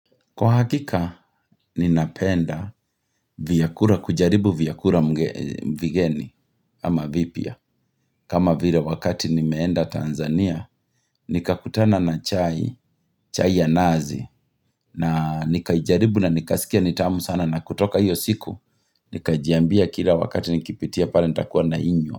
Kwa hakika, ninapenda kujaribu vyakura vigeni, ama vipya, kama vile wakati nimeenda Tanzania, nikakutana na chai, chai ya nazi, na nikajaribu na nikasikia nitamu sana na kutoka hiyo siku, nikajiambia kila wakati nikipitia pale nitakuwa nainywa.